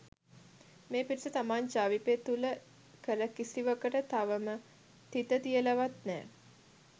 මේ පිරිස තමන් ජවිපේ තුළ කළ කිසිවකට තවම තිත තියලවත් නෑ